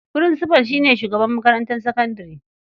Furinsifal shi ne shugaban makarantar sakandare.